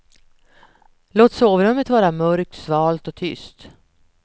Låt sovrummet vara mörkt, svalt och tyst.